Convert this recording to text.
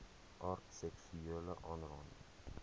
aard seksuele aanranding